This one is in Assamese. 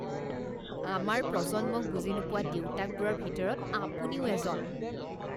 আমাৰ প্ৰজন্মক বুজি নোপোৱা দেউতাকবোৰৰ ভিতৰত আপুনিও এজন